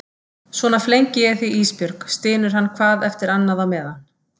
Svona flengi ég þig Ísbjörg, stynur hann hvað eftir annað á meðan.